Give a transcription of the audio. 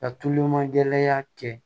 Ka tulonmagɛlaya kɛ